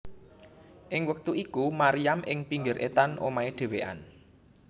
Ing wektu iku Maryam ing pinggir etan omahe dhewéan